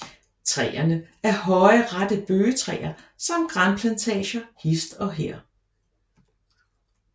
Træerne af høje rette bøgetræer samt granplantager hist og her